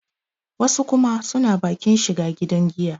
wasu kuma suna bakin shiga gidan giya